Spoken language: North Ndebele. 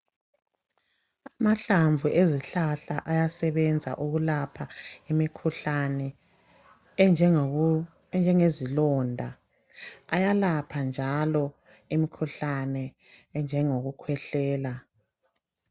Amahlamvu ezihlahla ayesebenza ukulapha imikhuhlane enjengezilonda. Ayalapha njalo imikhuhlane enjengokukhwehlela.